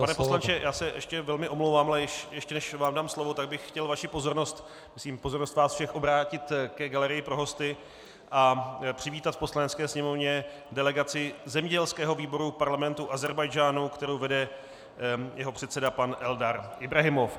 Pane poslanče, já se ještě velmi omlouvám, ale ještě než vám dám slovo, tak bych chtěl vaši pozornost, myslím pozornost vás všech, obrátit ke galerii pro hosty a přivítat v Poslanecké sněmovně delegaci zemědělského výboru Parlamentu Ázerbájdžánu, kterou vede jeho předseda pan Eldar Ibrahimov.